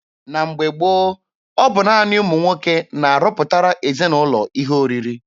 Na mgbe gboo, ọ bụ naanị ụmụ nwoke na-arọpụtara ezinaụlọ ihe oriri.